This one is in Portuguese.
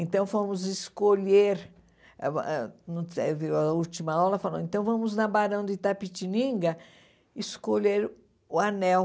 Então, fomos escolher ãh ãh no eh viu... A última aula falou, então vamos na Barão de Itapetininga escolher o anel.